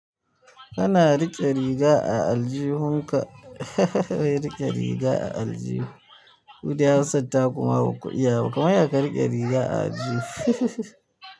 Kana riƙe riga a aljihun ka wai riƙe riga a aljihu. Kudai hausar taku ma baku iya ba kamarya ka riƙe riga a aljihu.